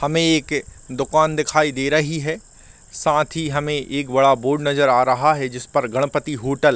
हमें एक दुकान दिखाई दे रही है साथ ही हमें एक बड़ा बोर्ड नजर आ रहा है जिसपर गणपती होटल --